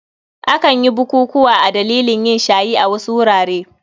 Akan yi bukukuwa a dalilin yin shayi a wasu wurare.